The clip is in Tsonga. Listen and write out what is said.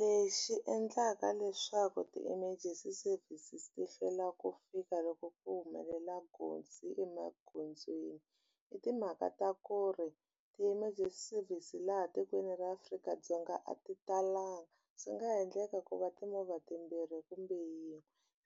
Lexi endlaka leswaku ti-emergency service ti hlwela ku fika loko ku humelela nghozi emagondzweni i timhaka ta ku ri ti-emergency service laha tikweni ra Afrika-Dzonga a ti talanga swi nga endleka ku va timovha timbirhi kumbe yin'we